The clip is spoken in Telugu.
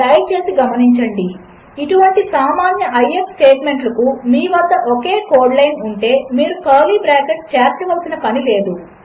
దయచేసిగమనించండి ఇటువంటిసామాన్య ఐఎఫ్ స్టేట్మెంట్లకుమీవద్దఒకేకోడ్లైన్ఉంటే మీరుకర్లీబ్రాకెట్లుచేర్చవలసినపనిలేదు